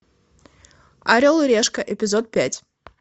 орел и решка эпизод пять